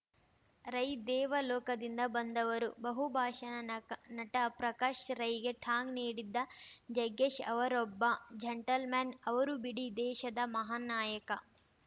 ರೈ ದೇವಲೋಕದಿಂದ ಬಂದವರು ಬಹುಭಾಷಾ ನಕ ನಟ ಪ್ರಕಾಶ್‌ ರೈಗೆ ಟಾಂಗ್‌ ನೀಡಿದ್ದ ಜಗ್ಗೇಶ್‌ ಅವರೊಬ್ಬ ಜಂಟಲ್ ಮನ್‌ ಅವರು ಬಿಡಿ ದೇಶದ ಮಹಾನ್‌ ನಾಯಕ